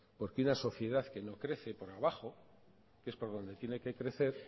porque una sociedad que no crece por debajo que es por donde tiene que crecer